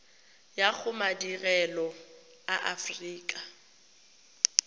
ya go madirelo a aforika